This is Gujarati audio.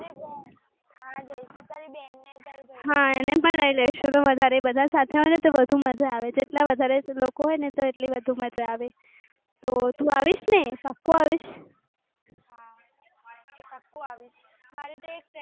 હા, એને પણ લઈ લેશો તો વધારે બધા સાથે તો વધુ મજા આવે. જેટલા વધારે લોકો ને તો એટલી વધુ મજા આવે. તો તું આવીશ ને? પાકું આવીશ.